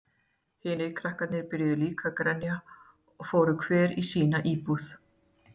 Hinir krakkarnir byrjuðu líka að grenja og fóru hver inní sína íbúð.